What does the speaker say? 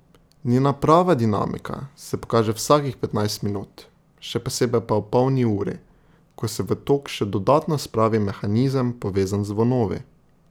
Njena prava dinamika se pokaže vsakih petnajst minut, še posebej pa ob polni uri, ko se v tok še dodatno spravi mehanizem povezan z zvonovi.